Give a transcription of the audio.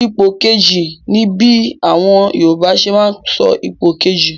Ipò kejì' ni bí àwọn Yorùbá ṣe máa ń sọ ipò kejì.